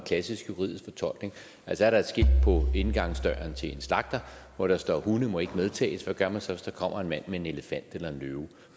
klassisk juridisk fortolkning er der et skilt på indgangsdøren til en slagter hvor der står hunde må ikke medtages hvad gør man så hvis der kommer en mand med en elefant eller en løve